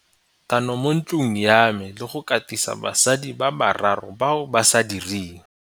tano mo ntlong ya me le go katisa basadi ba bararo bao ba sa direng.